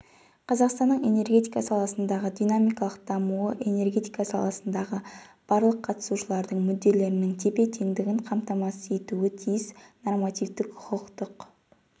қазақстанның энергетика саласының динамикалық дамуы энергетика саласындағы барлық қатысушылардың мүдделерінің тепе-теңдігін қамтамасыз етуі тиіс нормативтік-құқықтық